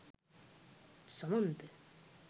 samantha